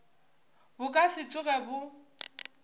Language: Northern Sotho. bo ka se tsoge bo